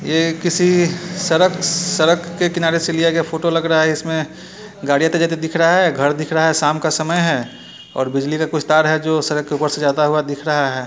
ये किसी सड़क सड़क के किनारे से लिया गया फोटो लग रहा है इसमें गाड़ी आते जाते दिख रहा है घर दिख रहा है शाम का समय है और बिजली का कुछ तार है जो सड़क के ऊपर से जाता हुआ दिख रहा है।